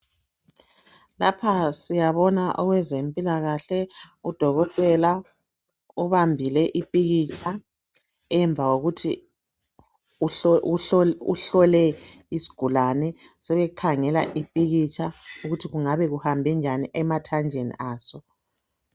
Lapha siyabona owezempilakahle udokotela ubambile iphikitsha .Emva kokuthi uhlole isigulane sebekhangela iphikitsha ukuthi kungabe kuhambe njani emathanjeni aso .